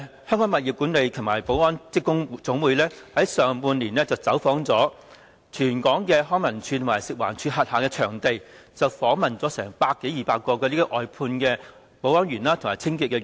香港物業管理及保安職工總會在上半年走訪了全港康樂及文化事務署及食物環境衞生署轄下場地，訪問了百多二百位外判保安員和清潔員。